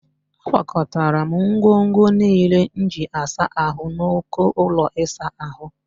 Akwakọtara m ngwongwo niile m ji asa ahụ n'uko ụlọ ịsa ahụ